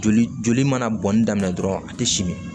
Joli joli mana bɔnni daminɛ dɔrɔn a tɛ simi